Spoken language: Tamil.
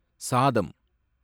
சாதம்